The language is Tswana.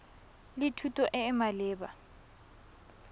le thuto e e maleba